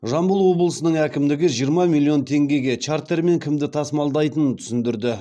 жамбыл облысының әкімдігі жиырма миллион теңгеге чартермен кімді тасымалдайтынын түсіндірді